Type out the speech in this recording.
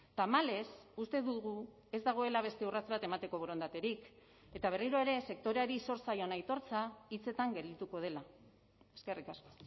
tamalez uste dugu ez dagoela beste urrats bat emateko borondaterik eta berriro ere sektoreari zor zaion aitortza hitzetan geldituko dela eskerrik asko